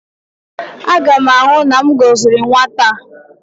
Aga m ahụ na m gọziri nwata a